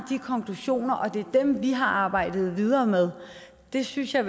konklusioner og det er dem vi har arbejdet videre med det synes jeg